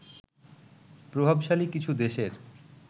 প্রভাবশালী কিছু দেশের